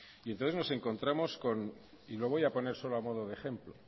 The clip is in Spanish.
entonces nos encontramos y lo voy a poner solo a modo de ejemplo